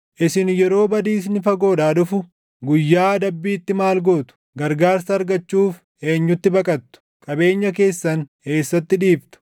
Isin yeroo badiisni fagoodhaa dhufu guyyaa adabbiitti maal gootu? Gargaarsa argachuuf eenyutti baqattu? Qabeenya keessan eessatti dhiiftu?